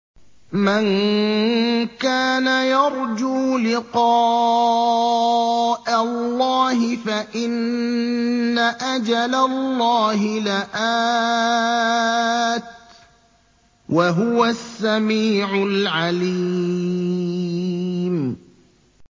مَن كَانَ يَرْجُو لِقَاءَ اللَّهِ فَإِنَّ أَجَلَ اللَّهِ لَآتٍ ۚ وَهُوَ السَّمِيعُ الْعَلِيمُ